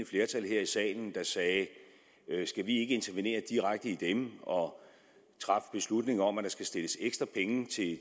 flertal her i salen der sagde skal vi ikke intervenere direkte i dem og træffe beslutning om at der skal stilles ekstra penge